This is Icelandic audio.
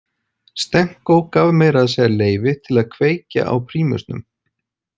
Stenko gaf meira að segja leyfi til að kveikja á prímusnum.